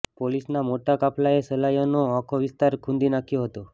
પોલીસના મોટા કાફલાએ સલાયાનો આખો વિસ્તાર ખુંદી નાખ્યો હતો